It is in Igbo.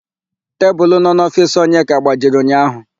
Tebulu nọ n'ofiisi Onyeka gbajiri ụnyaahụ.